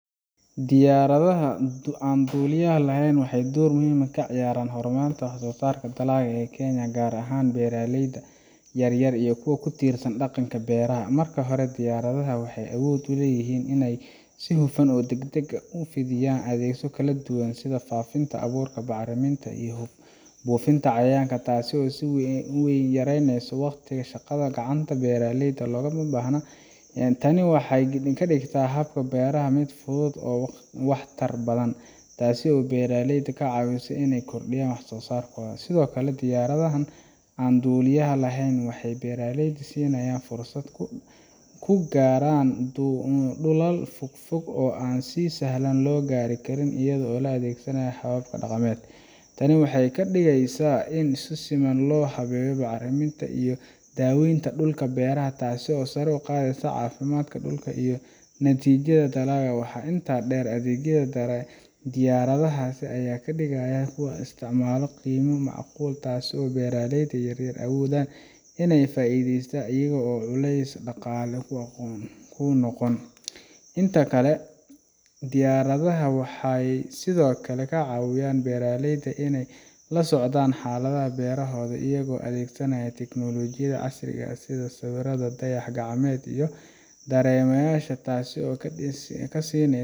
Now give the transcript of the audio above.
Diyaaradha aan dulyaha laxeyn waxey door muhiim ah kaciyaraan hormarka wax sosaaraka galaayake ya gaar ahaan beeraleyda yaryar iyo kuwa kutiirsan daqanka beeraha. Marka hore diyaaradha waxey awood uleeyihin in ey si huufan oo dagdag ah ufidhiyaan adheegyo kaladuwa sidha faafinta awuura bacaraminta iyo buufinta cayayaanka taasi oo si weyn yareeynesa waqtiga shaqadha gacanta beeraleyda logabahna. Tani waxey gadin kadigta habka beeraha mid fudhudu oo wax tar badhan taasi oo beraaleyda kacaawisa in ey kordiyaan waxsosaarkodha. Sidhookale diyaryahy aan dulyaha laxeyn waxey beraaleyda siinayaan fursad kugaaran dulal fogfog oo aan si sahlan logari Karin iyadho oo laadhegasanayo hababka daqameed. Tani waxey kadigeysa in si siman loo habeeyo bacaramintaiyo daweynta dulka beeraha taasi oo sare uqaadheysa caafimadka dulka iyo natijadha dalaaga. Waxaa intaa deer adhegyo diyaaradhasi Aya kadigayaa qeymo maacqul taasi oo beraaleyda yaryar awoodhan iney faidheysta iyaga oo culey daqaale kunoqon. Inta kale diyaaradha waxey sidhookale kacaawiyaan beraaleyda in ey lasocdaan xaaladhaha beerahodha iyago adheegsanaya teknolojiyadha casriga ah sidha sawiradha dayax gacmeed.